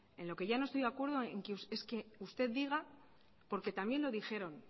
en lo que yo no estoy de acuerdo es que usted diga porque también lo dijeron